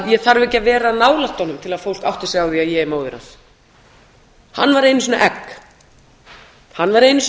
ég þarf ekki að vera nálægt honum til að fólk átti sig á því að ég er móðir hans hann var einu sinni